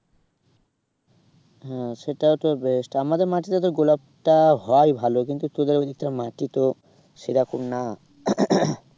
হ্যাঁ সেটাই তো best আমাদের মাটিতে তো গোলাপটা হয় ভালো কিন্তু তোদের ওইদিকটা মাটি তো সেরকম না